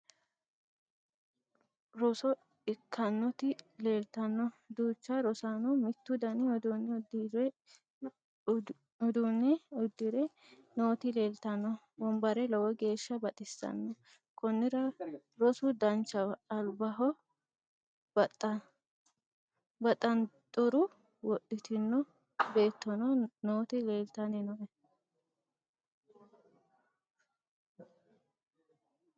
roso ikkannoti leeltanno duucha rosaanno mittu dani uduunne udire nooti leeltanno wombare lowo geeshsha baxissanno konnira rosu danchaho albaho baxanxure wodhitino beettono nooti leeltanni nooe